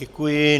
Děkuji.